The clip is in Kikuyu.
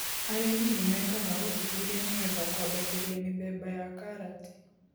Arĩmi ni mekaga ũthuthuria nĩgetha kwambatĩria mĩthemba ya karati.